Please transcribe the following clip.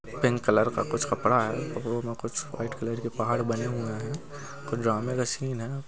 Pink colour का कुछ कपड़ा है ओहमे कुछ वाइट कलर के पहाड़ बने हुए हैं कोई ड्रामे का सीन है ।